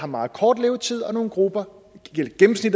meget kort levetid og nogle grupper